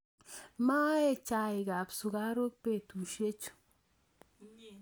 Maee chaikab sukaruk betusiechu